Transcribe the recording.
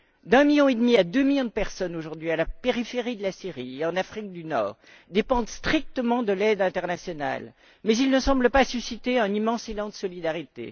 D'un million et demi à deux millions de personnes aujourd'hui, à la périphérie de la Syrie et en Afrique du Nord, dépendent strictement de l'aide internationale. Mais ils ne semblent pas susciter un immense élan de solidarité.